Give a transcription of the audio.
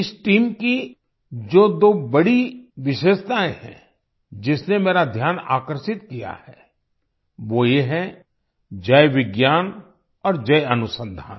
इस टीम की जो दो बड़ी विशेषतायें हैं जिसने मेरा ध्यान आकर्षित किया है वो ये है जय विज्ञान और जय अनुसंधान